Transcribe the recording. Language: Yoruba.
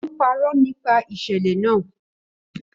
Ó ń parọ́ nípa ìṣẹ̀lẹ̀ náà